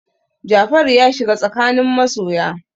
Jafaru ya shiga tsakanin masoya.